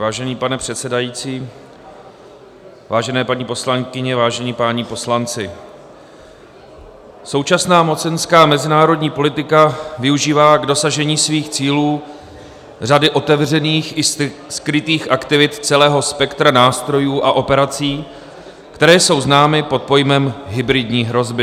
Vážený pane předsedající, vážené paní poslankyně, vážení páni poslanci, současná mocenská mezinárodní politika využívá k dosažení svých cílů řady otevřených i skrytých aktivit celého spektra nástrojů a operací, které jsou známy pod pojmem hybridní hrozby.